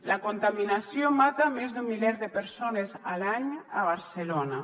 la contaminació mata més d’un miler de persones a l’any a barcelona